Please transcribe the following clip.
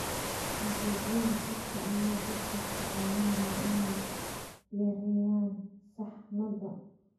Adeegyada khadka ayaa dadka ka caawinaya inay yareeyaan saxmadda.